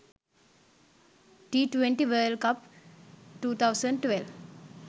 t20 world cup 2012